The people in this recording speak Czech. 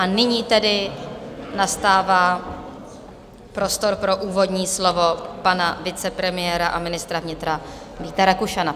A nyní tedy nastává prostor pro úvodní slovo pana vicepremiéra a ministra vnitra Víta Rakušana.